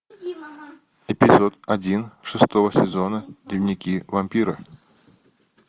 эпизод один шестого сезона дневники вампира